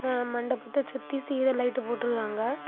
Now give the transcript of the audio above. ஏ மண்டபத்தை சுத்தி serial light போட்டுருக்காங்க.